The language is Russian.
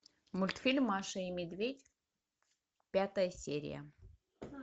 мультфильм маша и медведь пятая серия